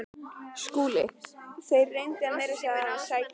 SKÚLI: Þér reynduð að meina mér að sækja